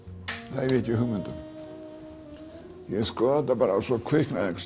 það hef ég ekki hugmynd um ég skoða þetta bara og svo kviknar einhvers